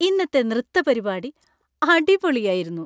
ഇന്നത്തെ നൃത്തപരിപാടി അടിപൊളി ആയിരുന്നു.